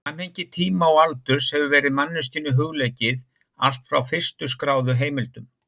Samhengi tíma og aldurs hefur verið manneskjunni hugleikið allt frá fyrstu skráðu heimildum.